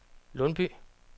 Lundby